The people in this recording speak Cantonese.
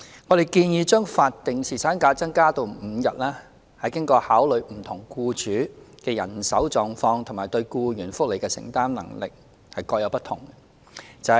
我們建議將法定侍產假增加至5天，是經考慮不同僱主的人手狀況及對僱員福利的承擔能力各有不同。